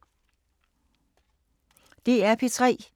DR P3